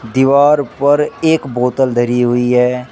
दीवार पर एक बोतल धारी हुई है।